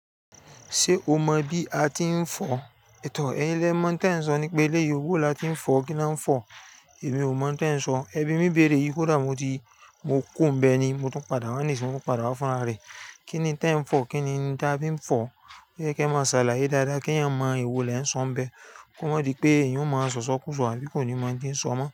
Ṣé o mọ bí a ti ń fọ? Tò ẹyín lé mọ̀ ohun ti e n sọ nípa eleyi, bowo la ti ń fọ, kí ni a ń fọ? Èmi ò mọ̀ n te n sọ. Ẹbí mi béèrè yi, kodà mo ti, mo kùnbẹ́ ni. Mo tún padà wá nísinyí, mo tun padà wá fún àra rẹ. Kí ni n te ń fọ? Kí ni n ìdábím fọ? Pe kẹ máa ṣàlàyé dáadáa kí eeyan mọ ewòó lẹ eeyań o sọ ń bẹ́. Kó má di pé eeyan ó máa sọ̀sọ kùsọ àbí kò ní máa dín sọ mọ́